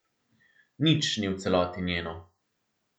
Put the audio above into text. Nič ni v celoti njeno.